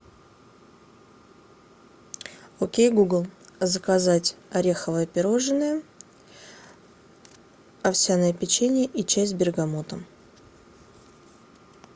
окей гугл заказать ореховое пирожное овсяное печенье и чай с бергамотом